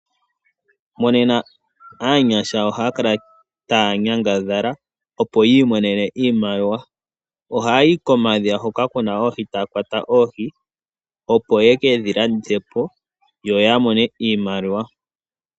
Monena aanyasha ohaya kala taya nyangadhala opo yi imonene iimaliwa. Ohaya yi komadhiya hoka kuna oohi, taya kwata oohi opo yeke dhilandithe po yo yamone iimaliwa.